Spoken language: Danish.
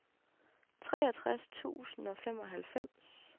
treogtres tusind og femoghalvfems